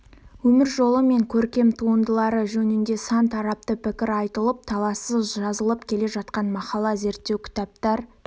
өмір жолы мен көркем туындылары жөнінде сан тарапты пікір айтылып талассыз жазылып келе жатқан мақала зерттеу кітаптар